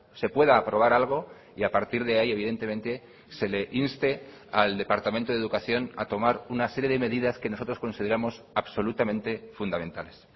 se pueda aprobar algo y a partir de ahí evidentemente se le inste al departamento de educación a tomar una serie de medidas que nosotros consideramos absolutamente fundamentales